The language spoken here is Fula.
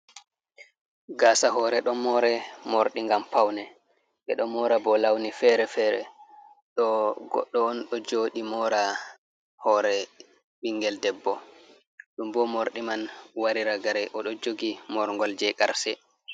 Gaasa hore ɗon more morɗi ngam paune. Ɓe ɗo mora bo launi fere-fere. Ɗo goɗɗo on ɗo jooɗi mora hoore ɓingel debbo, ɗum bo morɗi man wari ragare. O ɗo jogi morgol jei ƙarse.